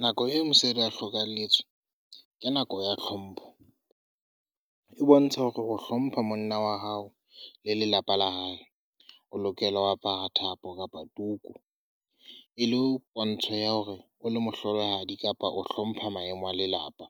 Nako eo mosadi a hlokahelletswe. Ke nako ya hlompho. E bontsha hore o hlompha monna wa hao le lelapa la hae. O lokela ho apara thapo kapa tuku e le ho pontsho ya hore o le mohlolohadi kapa o hlompha maemo a lelapa.